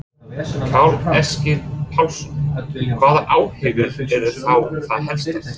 Karl Eskil Pálsson: Hvaða áhyggjur eru þá það helstar?